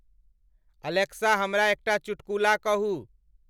Alexa हमरा एकता चुटकुला कहु ।